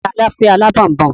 Ta ló fẹ́ alábọ̀nbọ̀n?